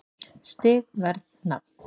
Stig Verð Nafn